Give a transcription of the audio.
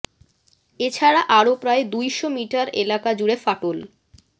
এ ছাড়া আরও প্রায় দুই শ মিটার এলাকা জুড়ে ফাটল